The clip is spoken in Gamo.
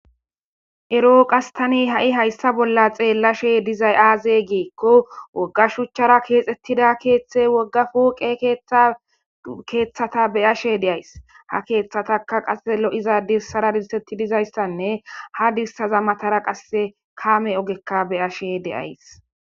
eroo qastani ha7i hayssa bolla xeellashe dizay aaze geekko wogga shuchchara keexettida keeththe woggafuuqe keeththata beyashe deays ha keeththataka qa lo7iza dissara dintetti dizayssanne ha dissaza matara qasse kaame ogekka beyashe deays